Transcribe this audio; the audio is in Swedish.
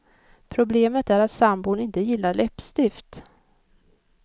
Problemet är att sambon inte gillar läppstift.